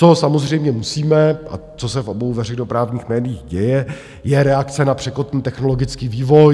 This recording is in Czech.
Co samozřejmě musíme a co se v obou veřejnoprávních médiích děje, je reakce na překotný technologický vývoj.